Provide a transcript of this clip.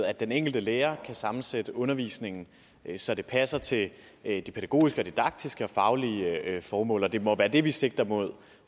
at den enkelte lærer kan sammensætte undervisningen så det passer til de pædagogiske og didaktiske og faglige formål og det må være det vi sigter mod